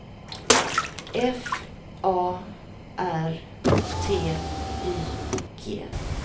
F A R T Y G